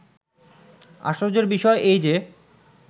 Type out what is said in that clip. "আশ্চর্য্যের বিষয় এই যে